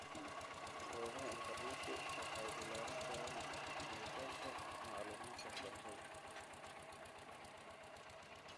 Goobaha internetka waxay ballaarin karaan gelitaanka macluumaadka waxbarashada.